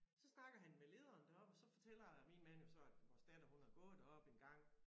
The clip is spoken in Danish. Så snakker han med lederen deroppe og så fortæller min mand jo så at vores datter hun har gået deroppe engang